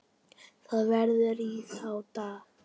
Það var í þá daga!